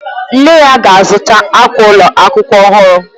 Nne ya ga-azụta akwa ụlọ akwụkwọ ọhụrụ.